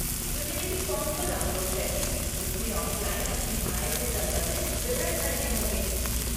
Utility form को download करके उसमें ऑफ़लाइन अपनी आय से संबंधित विवरण भरने होंगे।